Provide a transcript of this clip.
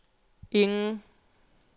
ingen